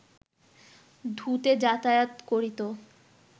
ধু-তে যাতায়াত করিত